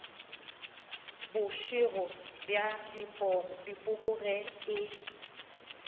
bošego bja dipoko ge e